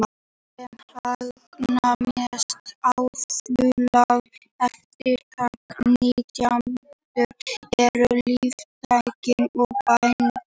Þeir sem hagnast mest á framleiðslu erfðabreyttra nytjaplantna eru líftæknifyrirtæki og bændur.